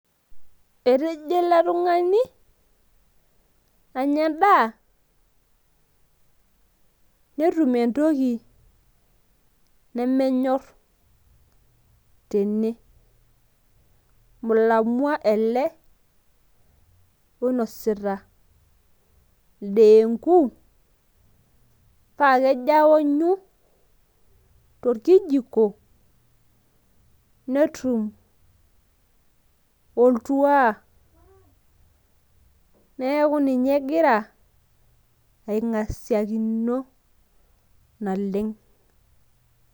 etejo ele tungani anya edaa netum entoki nemenyor tene. mulamwa ele oinosita ideenku. paa kejo aounyu te nkijiko neum oltuaa neeku ninye egira aing'asiakino naleng.